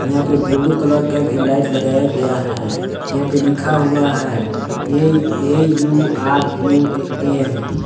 यहां पे blue colour का भी लाइट लगाया गया है यहां पे लिखा हुआ है ए_ए_यू_आर_यू_एम